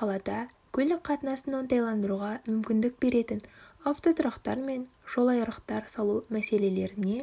қалада көлік қатынасын оңтайландыруға мүмкіндік беретін автотұрақтар мен жолайрықтар салу мәселелеріне